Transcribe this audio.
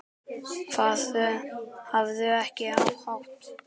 Hafðu ekki hátt!